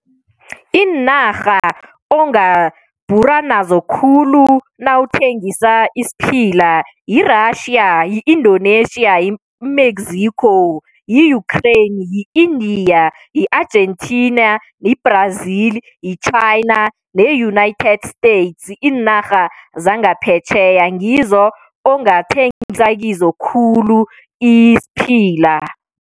Iinarha ongabhura nazo khulu nawuthengisa isiphila yi-Russia, yi-Indonesia, yi-Mexico, yi-Ukraine, yi-India, yi-Argentina, yi-Brazil, yi-China ne-United States. Iinara zangaphetjheya ngizo ongathengisa kizo khulu isiphila.